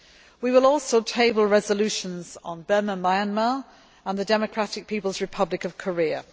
We will also table resolutions on Burma Myanmar and the Democratic People's Republic of Korea.